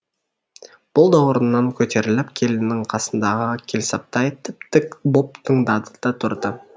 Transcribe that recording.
бұл да орнынан көтеріліп келінің қасындағы келсаптай тіп тік боп тыңдады да тұрды